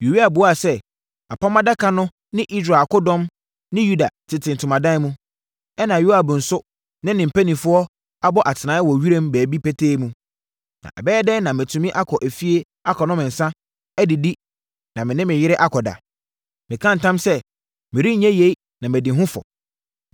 Uria buaa sɛ, “Apam Adaka no ne Israel akodɔm ne Yuda tete ntomadan mu, ɛnna Yoab nso ne ne mpanimfoɔ abɔ atenaeɛ wɔ wiram baabi petee mu. Na ɛbɛyɛ dɛn na matumi akɔ efie akɔnom nsã, adidi na me ne me yere akɔda? Meka ntam sɛ merenyɛ yei na madi ho fɔ.”